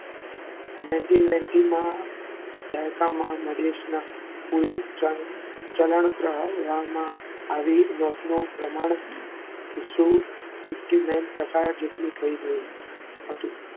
nineteen ninety માં દાયકામાં ચલણ પહેલામાં આવી નોટનું પ્રમાણ sixty nine પ્રકાર જેટલું થઈ ગયું હતું.